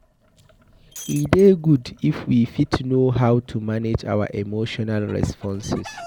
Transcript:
E dey good if we fit know how to manage our emotional responses